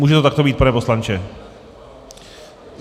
Může to takto být, pane poslanče?